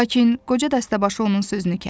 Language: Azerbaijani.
Lakin qoca dəstəbaşı onun sözünü kəsdi,